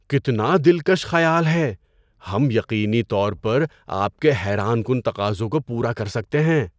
کتنا دلکش خیال ہے! ہم یقینی طور پر آپ کے حیران کن تقاضوں کو پورا کر سکتے ہیں۔